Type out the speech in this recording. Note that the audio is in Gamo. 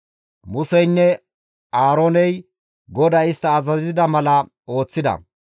Museynne Aarooney GODAY istta azazida mala ooththida.